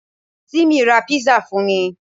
Tìmí ra písà fún mi